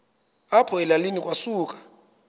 apho elalini kwasuka